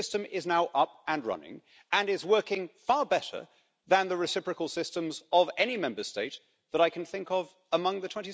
But the system is now up and running and is working far better than the reciprocal systems of any Member State that I can think of among the